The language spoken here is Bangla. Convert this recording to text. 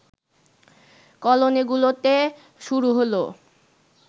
কলোনিগুলোতে শুরু হলো